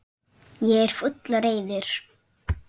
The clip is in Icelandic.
Ég er fúll og reiður.